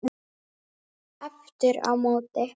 Aftur á móti